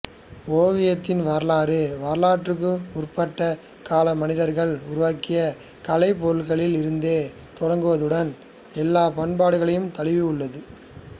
ஓவியத்தின் வரலாறு வரலாற்றுக்கு முற்பட்ட கால மனிதர்கள் உருவாக்கிய கலைப் பொருட்களில் இருந்தே தொடங்குவதுடன் எல்லாப் பண்பாடுகளையும் தழுவியுள்ளது